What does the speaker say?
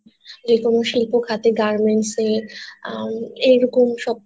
যে কোন শিল্প খাতে Garments এ আহ এরকম সব